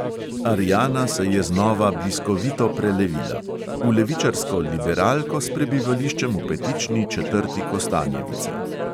Ariana se je znova bliskovito prelevila – v levičarsko liberalko s prebivališčem v petični četrti kostanjevice.